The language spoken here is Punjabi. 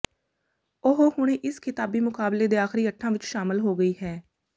ਉਹ ਹੁਣ ਇਸ ਖ਼ਿਤਾਬੀ ਮੁਕਾਬਲੇ ਦੇ ਆਖਰੀ ਅੱਠਾਂ ਵਿੱਚ ਸ਼ਾਮਲ ਹੋ ਗਈ ਹੈ